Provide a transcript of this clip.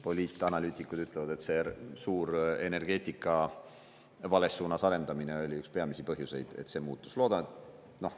Poliitanalüütikud ütlevad, et see suur energeetika vales suunas arendamine oli üks peamisi põhjusi, et see muutus.